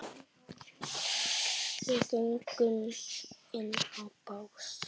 Við göngum inn á bás